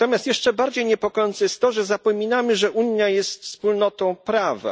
Natomiast jeszcze bardziej niepokojące jest to, że zapominamy, że Unia jest wspólnotą prawa.